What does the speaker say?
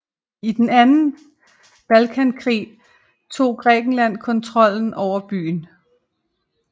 I den anden Balkankrig tog Grækenland kontrollen over byen